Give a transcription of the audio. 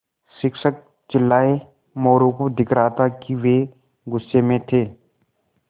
शिक्षक चिल्लाये मोरू को दिख रहा था कि वे गुस्से में थे